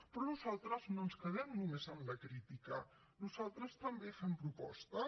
però nosaltres no ens quedem només en la crítica nosaltres també fem propostes